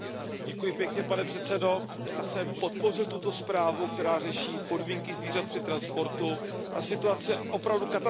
Pane předsedající, já jsem podpořil tuto zprávu, která řeší podmínky zvířat při transportu. Ta situace je opravdu katastrofická.